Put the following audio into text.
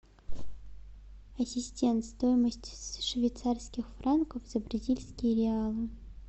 ассистент стоимость швейцарских франков за бразильские реалы